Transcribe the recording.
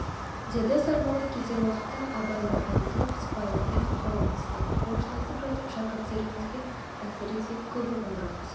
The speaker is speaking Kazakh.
деді сармолла кетер уақытта абай орнынан тұрып сыпайылықпен қол алысты қоштасып жатып шәкірттеріңізге әсіресе көп ұғындырыңыз